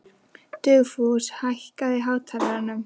Dugfús, hækkaðu í hátalaranum.